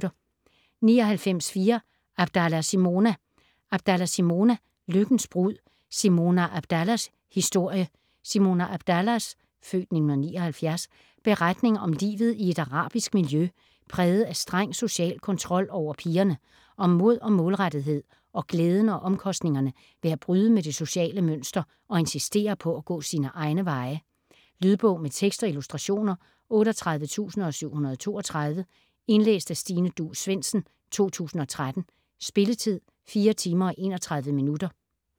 99.4 Abdallah, Simona Abdallah, Simona: Lykkens brud: Simona Abdallahs historie Simona Abdallahs (f. 1979) beretning om livet i et arabisk miljø præget af streng social kontrol over pigerne, om mod og målrettethed og glæden og omkostningerne ved at bryde med det sociale mønster og insistere på at gå sine egne veje. Lydbog med tekst og illustrationer 38732 Indlæst af Stine Duus Svendsen, 2013. Spilletid: 4 timer, 31 minutter.